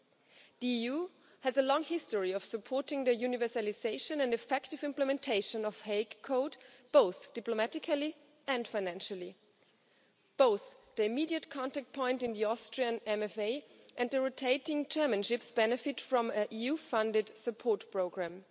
The EU has a long history of supporting the universalisation and effective implementation of The Hague Code, both diplomatically and financially, both the immediate contact point in the Austrian MFA and the rotating chairmanships benefit from EU funded support programme.